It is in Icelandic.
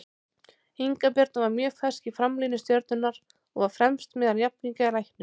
Inga Birna var mjög fersk í framlínu Stjörnunnar og var fremst meðal jafningja í leiknum.